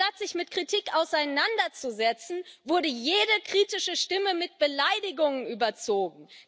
Anstatt sich mit Kritik auseinanderzusetzen, wurde jede kritische Stimme mit Beleidigungen überzogen.